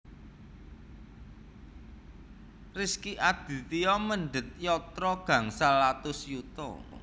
Rezky Aditya mendhet yatra gangsal atus yuta